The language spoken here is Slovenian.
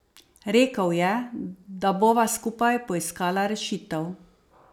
Rekel je, da bova skupaj poiskala rešitev.